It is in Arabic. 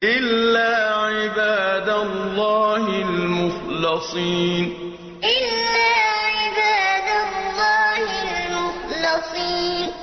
إِلَّا عِبَادَ اللَّهِ الْمُخْلَصِينَ إِلَّا عِبَادَ اللَّهِ الْمُخْلَصِينَ